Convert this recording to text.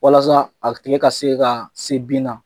Walasa a tile ka se ka se bin na.